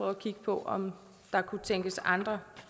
at kigge på om der kunne tænkes andre